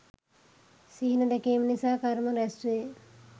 සිහින දැකීම නිසා කර්ම රැස් වේ.